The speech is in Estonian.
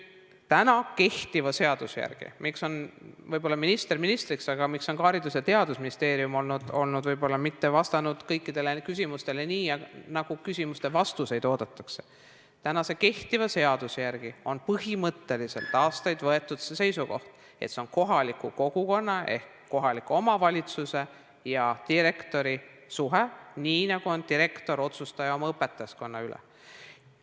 Kehtiva seaduse järgi – minister ministriks, aga ka Haridus- ja Teadusministeerium ei ole võib-olla vastanud kõikidele küsimustele nii, nagu vastust oodatakse – on põhimõtteliselt aastaid tagasi võetud seisukoht, et see on kohaliku kogukonna ehk kohaliku omavalitsuse ja direktori suhe, nii nagu direktor on otsustaja oma õpetajaskonna üle.